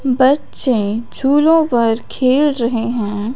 बच्चे झूलो पर खेल रहे है।